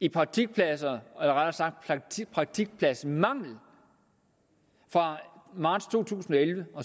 i praktikpladser eller rettere i praktikpladsmanglen fra marts to tusind og elleve og